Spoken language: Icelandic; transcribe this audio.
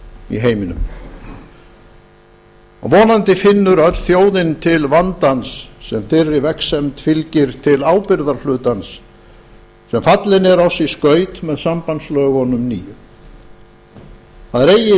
í heiminum og vonandi finnur öll þjóðin til vandans sem þeirri vegsemd fylgir til ábyrgðarhlutans sem fallinn er oss í skaut með sambandslögunum nýju það er eigi